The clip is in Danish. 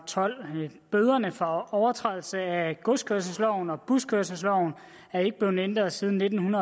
tolv bøderne for overtrædelse af godskørselsloven og buskørselsloven er ikke blevet ændret siden nitten